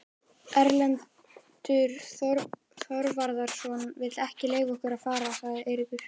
Erlendur Þorvarðarson vill ekki leyfa okkur að fara, sagði Eiríkur.